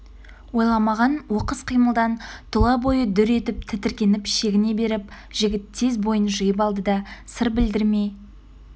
ойламаған оқыс қимылдан тұлабойы дүр етіп тітіркеніп шегіне беріп жігіт тез бойын жиып алды да сыр білдірмей